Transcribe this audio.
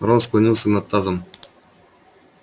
рон склонился над тазом